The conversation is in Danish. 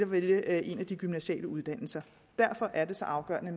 vælge en af de gymnasiale uddannelser derfor er det så afgørende